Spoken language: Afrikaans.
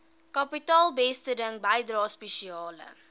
kapitaalbesteding bydrae spesiale